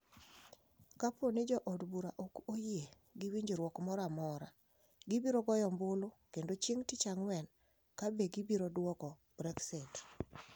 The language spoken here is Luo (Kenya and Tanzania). Kapo ni jo od bura ok oyie gi winjruok moro amora, gibiro goyo ombulu kendo chieng’ tich ang’wen ka be gibiro dwoko Brexit.